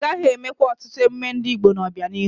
Agaghị eme kwa ọtụtụ emume ndị Igbo n'obianihu.